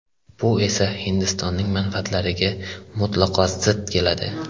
Bu esa Hindistonning manfaatlariga mutlaqo zid keladi.